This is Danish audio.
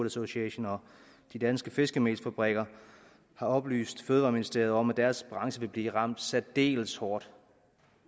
association og de danske fiskemelsfabrikker har oplyst fødevareministeriet om at deres branche vil blive ramt særdeles hårdt